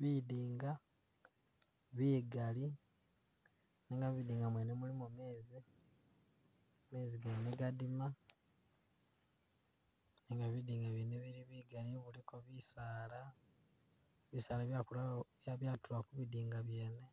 Bidinga bigali, nenga bidinga mwene mulimo mezi, mezi gene gadima, nenga bidinga byene bili bigali biliko bisaala, bisaala byakula byatula ku bidinga byene,